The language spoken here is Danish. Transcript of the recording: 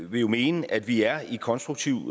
vil jo mene at vi er i konstruktiv